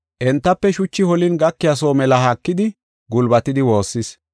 Entafe shuchi holin gakiya soo mela haakidi gulbatidi woossis.